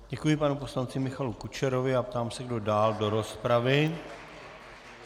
Děkuji panu poslanci Michalu Kučerovi a ptám se, kdo dál do rozpravy.